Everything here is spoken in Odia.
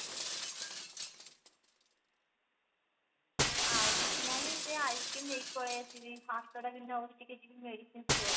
ଆଉ କିଛି ନାଇଁ ସେ ice-cream ନେଇକି ପଳେଈ ଆସିବି ହାତ ଟା ବିନ୍ଧା ହଉଛି ଟିକେ ଯିବୀ medicine store